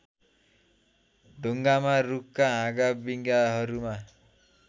ढुङ्गामा रूखका हाँगाविँगाहरूमा